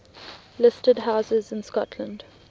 listed houses in scotland